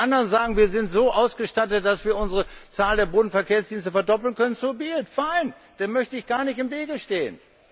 Wenn die anderen sagen, wir sind so ausgestattet, dass wir unsere Zahl der Bodenverkehrsdienste verdoppeln können fein, dem möchte ich gar nicht im Wege stehen.